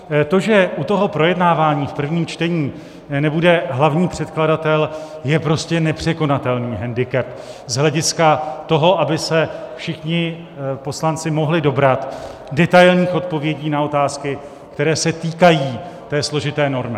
To, že u toho projednávání v prvním čtení nebude hlavní předkladatel, je prostě nepřekonatelný hendikep z hlediska toho, aby se všichni poslanci mohli dobrat detailních odpovědí na otázky, které se týkají té složité normy.